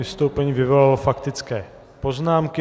Vystoupení vyvolalo faktické poznámky.